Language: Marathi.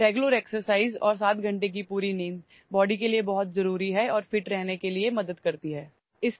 नियमित व्यायाम आणि 7 तासांची झोप शरीरासाठी खूप महत्त्वाची आहे आणि या सगळ्या बाबी शरीर सुदृढ राहण्यास मदत करते